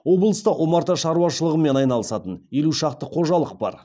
облыста омарта шаруашылығымен айналысатын елу шақты қожалық бар